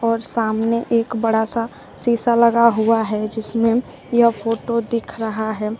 और सामने एक बड़ा सा सीसा लगा हुआ है जिसमें यह फोटो दिख रहा है।